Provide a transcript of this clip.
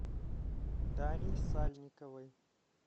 дарье сальниковой